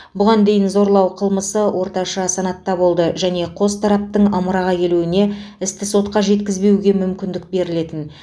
бұған дейін зорлау қылмысы орташа санатта болды және қос тараптың ымыраға келуіне істі сотқа жеткізбеуге мүмкіндік берілетін